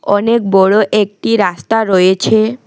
অনেক বড় একটি রাস্তা রয়েছে।